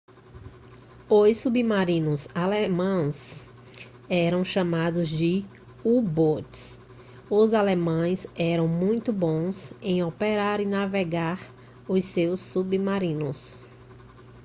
os submarinos alemães eram chamados de u-boats os alemães eram muito bons em operar e navegar os seus submarinos